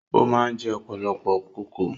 O máa ń jẹ ọ̀pọ̀lọpọ̀ kókò